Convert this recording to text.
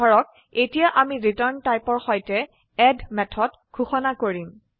ধৰক এতিয়া আমি ৰিটাৰ্ন টাইপৰ সৈতে এড মেথড ঘোষিত কৰিম